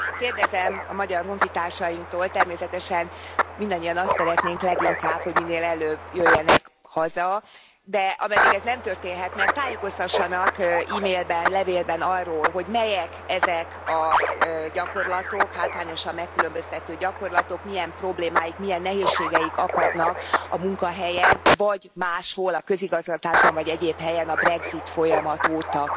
Kérdezem a magyar honfitársainktól, természetesen mindannyian azt szeretnénk leginkább, hogy minél előbb jöjjenek haza, de ameddig ez nem történhet meg, tájékoztassanak e mailben, levélben arról, hogy melyek ezek a gyakorlatok, hátrányosan megkülönböztető gyakorlatok, milyen problémáik, milyen nehézségeik akadnak a munkahelyen, vagy máshol, a közigazgatásban vagy egyéb helyen a brexit folyamat óta.